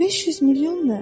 500 milyon nə?